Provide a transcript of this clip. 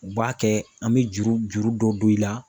U b'a kɛ an mɛ juru juru dɔ don i la.